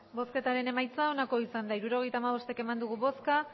hirurogeita hamabost eman dugu bozka